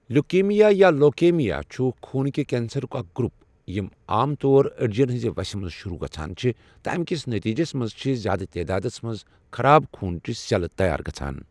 leukaemia یا leukaemia چھُ خوٗن کہِ کینسرک اَکھ گروپ یم عام طور أڈۍجن ہٕنٛزِ وَسہِ مَنٛز شۆروٗع گژھان چھِ تہٕ امکِس نٔتیٖجَس مَنٛز چھِ زیٛادٕ تعدادس مَنٛز خَراب خوٗنچہٕ سؠلہٕ تَیار گَژھان